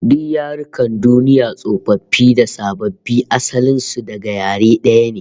Duk yarukan duniya tsofaffi da sababbi, asalin su daga yare daya ne